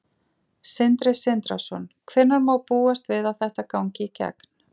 Sindri Sindrason: Hvenær má búast við að þetta gangi í gegn?